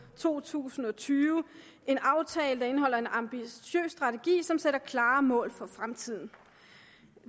to tusind og tyve en aftale der indeholder en ambitiøs strategi som sætter klare mål for fremtiden